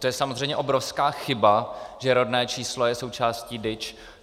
To je samozřejmě obrovská chyba, že rodné číslo je součástí DIČ.